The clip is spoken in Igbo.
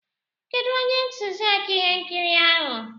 Kedụ onye ntụziaka ihe nkiri ahụ?